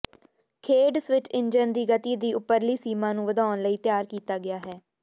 ਖੇਡ switch engine ਦੀ ਗਤੀ ਦੀ ਉਪਰਲੀ ਸੀਮਾ ਨੂੰ ਵਧਾਉਣ ਲਈ ਤਿਆਰ ਕੀਤਾ ਗਿਆ ਹੈ